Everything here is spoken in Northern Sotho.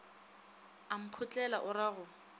a mphotlela o ra go